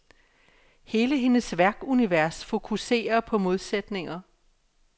Hele hendes værkunivers fokuserer på modsætninger.